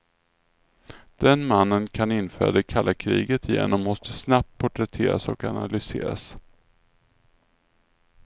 Den mannen kan införa det kalla kriget igen och måste snabbt porträtteras och analyseras.